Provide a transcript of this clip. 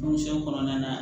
Misɛn kɔnɔnana